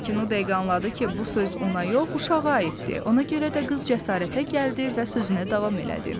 Lakin o dəqiqə anladı ki, bu söz ona yox, uşağa aiddir, ona görə də qız cəsarətə gəldi və sözünə davam elədi.